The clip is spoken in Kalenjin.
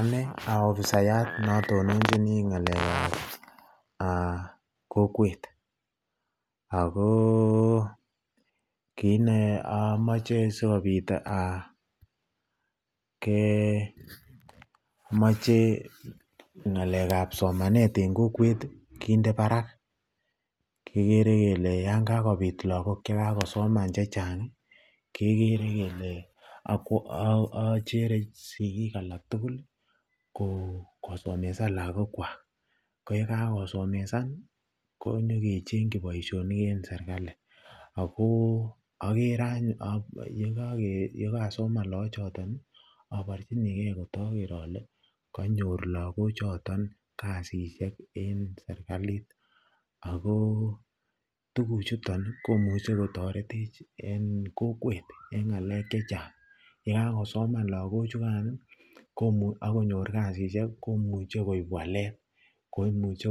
Anee aofisayat notononjini ng'alekab kokwet ak ko amoche sikobiit kemoche ng'alekab somanet en kokwet kinde barak, kikere kelee yoon kakobit lokok chekasoman chechang kekere kelee ochere sikik alak tukul kosomesan lokokwak, ko yekakosomesan konyo kecheng'yi boishonik en serikali ak ko okere yekasoman loochoton aborchinikee kotoker olee konyor lokochoton kasisiek en serikalit, ak ko tukuchuton komuche kotoretech en kokwet en ngalek chechang, yekakosoman lokochukan ak konyor kasisyek komuche koib walet, koimuche